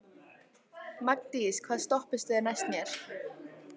Magndís, hvaða stoppistöð er næst mér?